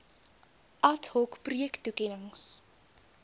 ad hoc projektoekennings